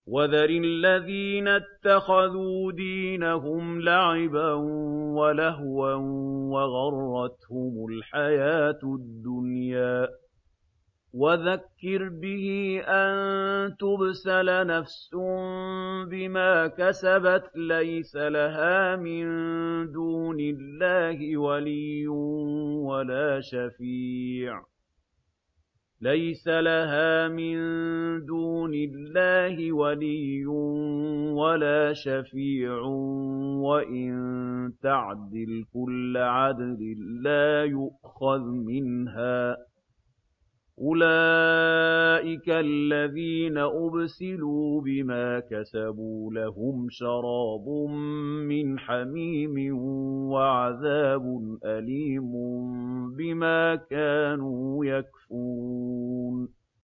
وَذَرِ الَّذِينَ اتَّخَذُوا دِينَهُمْ لَعِبًا وَلَهْوًا وَغَرَّتْهُمُ الْحَيَاةُ الدُّنْيَا ۚ وَذَكِّرْ بِهِ أَن تُبْسَلَ نَفْسٌ بِمَا كَسَبَتْ لَيْسَ لَهَا مِن دُونِ اللَّهِ وَلِيٌّ وَلَا شَفِيعٌ وَإِن تَعْدِلْ كُلَّ عَدْلٍ لَّا يُؤْخَذْ مِنْهَا ۗ أُولَٰئِكَ الَّذِينَ أُبْسِلُوا بِمَا كَسَبُوا ۖ لَهُمْ شَرَابٌ مِّنْ حَمِيمٍ وَعَذَابٌ أَلِيمٌ بِمَا كَانُوا يَكْفُرُونَ